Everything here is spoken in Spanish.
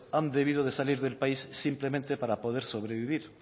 han debido de salir del país simplemente para poder sobrevivir